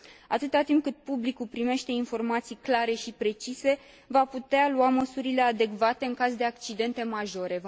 Atâta timp cât publicul primește informații clare și precise, va putea lua măsurile adecvate în caz de accidente majore.